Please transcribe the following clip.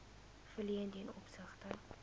verleen ten opsigte